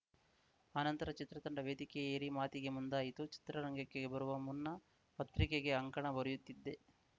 ಆನಂತರ ಚಿತ್ರ ತಂಡ ವೇದಿಕೆಯೇರಿ ಮಾತಿಗೆ ಮುಂದಾಯಿತು ಚಿತ್ರರಂಗಕ್ಕೆ ಬರುವ ಮುನ್ನ ಪತ್ರಿಕೆಗೆ ಅಂಕಣ ಬರೆಯುತ್ತಿದ್ದೆ